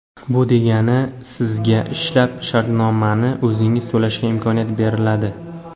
Bu degani sizga ishlab shartnomani o‘zingiz to‘lashga imkoniyat beriladi.